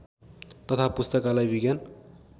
तथा पुस्तकालय विज्ञान